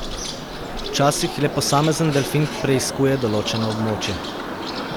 Včasih le posamezen delfin preiskuje določeno območje.